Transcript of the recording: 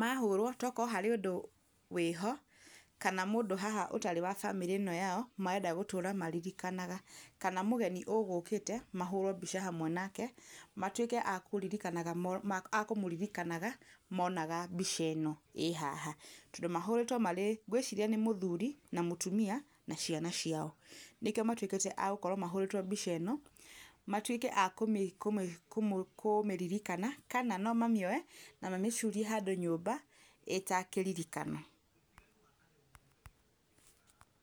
mahũrwo to gũkorwo harĩ ũndũ wĩho, kana mũndũ haha ũtarĩ wa bamĩrĩ ĩno yao marenda gũtũra maririkanaga, kana mũgeni ũgũkĩte mahũrwo mbica hamwe nake, matuĩke a kũririkanaga a kũmũririkanaga monaga mbica ĩno ĩ haha, tondũ mahũrĩtwo marĩ ngwĩciria nĩ mũthuri na mũtuia na ciana ciao, nĩkĩo matuĩkĩte a gũkorwo mahũrĩtwo mbica ĩno, matuĩke a kũmĩririkana, kana no mamĩoe na mamĩcurie handũ nyũmba ĩ ta kĩririkano.